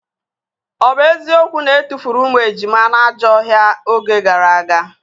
Ọ bụ eziokwu na etufuru ụmụ ejima na ajọ ọhịa oge gara aga?